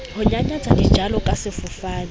ho nyanyatsa dijalo ka sefofane